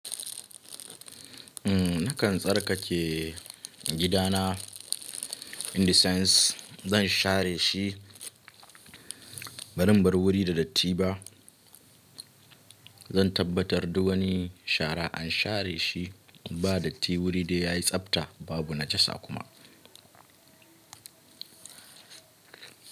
Nakan tsarkake gidana Indisens, zan share shi bazan bar wuri da datti ba. Zan tabbatar duk wani shara an share shi ba datti wuri dai yayi tsabta babu najasa kuma.